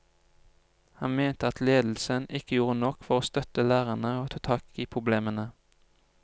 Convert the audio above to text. Han mente at ledelsen ikke gjorde nok for å støtte lærerne og ta tak i problemene.